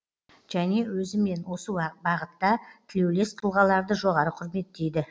және өзімен осы бағытта тілеулес тұлғаларды жоғары құрметтейді